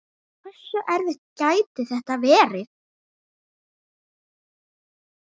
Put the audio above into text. Hversu erfitt gæti þetta verið?